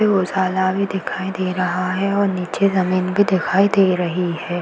यहाँ पे उजाला भी दिखाई दे रहा है और नीचे जमीन भी दिखाई दे रही है।